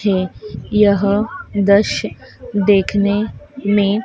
है यह दश्य देखने में--